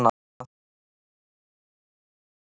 Láttu mig nú kemba það vinan.